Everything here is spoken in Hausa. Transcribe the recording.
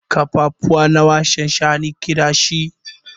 Kafafuwa nawa shanshani ke da shi?